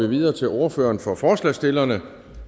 vi videre til ordføreren for forslagsstillerne